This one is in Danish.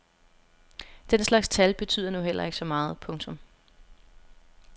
Den slags tal betyder nu heller ikke så meget. punktum